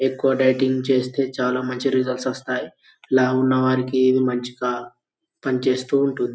ఎక్కువ డైటింగ్ చేస్తే చాలా మంచి రిజల్ట్స్ వస్తాయి. లావు ఉన్నవారికి ఇది మంచిగా పనిచేస్తూ ఉంటుంది.